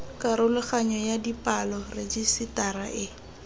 karologanyo ya dipalo rejisetara e